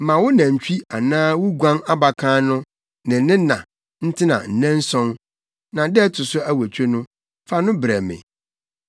Ma wo nantwi anaa wo guan abakan no ne ne na ntena nnanson, na da a ɛto so awotwe no, fa no brɛ me.